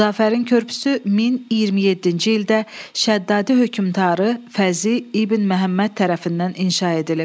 Xudafərin körpüsü 1027-ci ildə Şəddadi hökmdarı Fəzli İbn Məhəmməd tərəfindən inşa edilib.